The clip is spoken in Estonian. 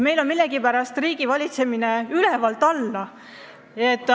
Meil on millegipärast riigivalitsemine ülevalt alla.